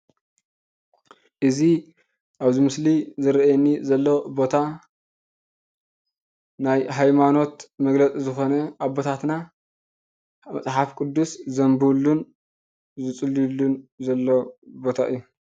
እዚ አብዚ ምስሊ ዝረአየኒ ዘሎ ቦታ ናይ ሃይማኖት መግልፂ ዝኾነ አቦታትና መፅሓፍ ቅዱስ ዘንብቡሉን ዝፅልይሉን ዘለው ቦታ እዩ።